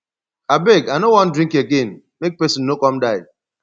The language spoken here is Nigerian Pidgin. abeg i no wan drink again make person no come die